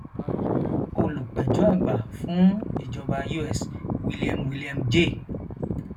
olùpẹjọ àgbà fún ìjọba us william william j